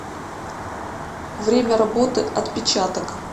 время работы отпечаток